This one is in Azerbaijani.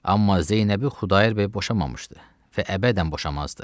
Amma Zeynəbi Xudayar bəy boşamamışdı və əbədən boşamazdı.